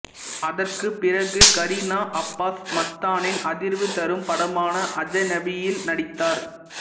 அதற்குப்பிறகு கரீனா அப்பாஸ் மஸ்தானின் அதிர்வு தரும் படமான அஜநபீ யில் நடித்தார்